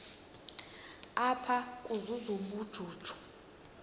apha ukuzuza ubujuju